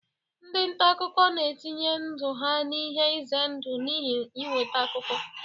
Ndị nta akụkọ na-etinye ndụ ha n'ihe ize ndụ n'ihi inweta akụkọ.